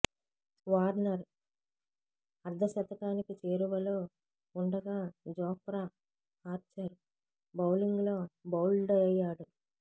Warner అర్ధ శతకానికి చేరువలో ఉండగా జోఫ్రా ఆర్చర్ బౌలింగ్లో బౌల్డయ్యాడు